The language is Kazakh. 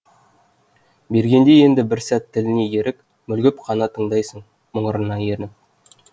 бергенде енді бір сәт тіліне ерік мүлгіп қана тыңдайсың мұңырына еніп